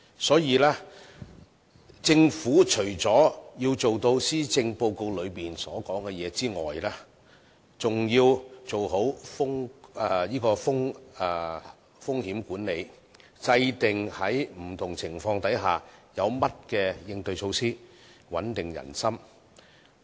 所以，政府除要做到施政報告中所說的內容外，更要做好風險管理，制訂在不同情況下有不同的應對措施，穩定人心。